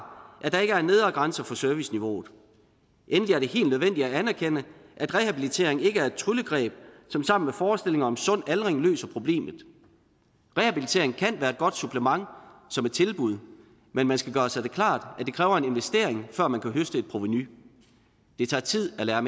at der ikke er en nedre grænse for serviceniveauet endelig er det helt nødvendigt at anerkende at rehabilitering ikke er et tryllegreb som sammen med forestillinger om sund aldring løser problemet rehabilitering kan være et godt supplement som et tilbud men man skal gøre sig klart at det kræver en investering før man kan høste et provenu det tager tid at lære